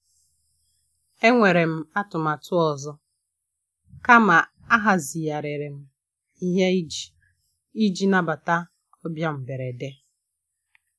E nwere m atụmatụ ọzọ, kama ahazigharịrị m ihe iji iji nabata ọbịa mgberede.